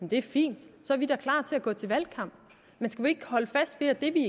det fint så er vi da klar til at gå til valgkamp men skal vi ikke holde fast ved at det vi